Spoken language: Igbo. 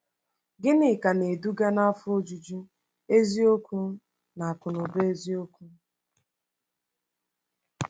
Gịnị ka na-eduga n’afọ ojuju eziokwu na akụnụba eziokwu?